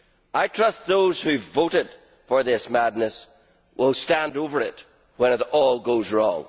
I trust those who voted for this madness will stand over it when it all goes wrong.